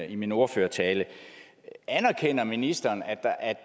i min ordførertale anerkender ministeren at at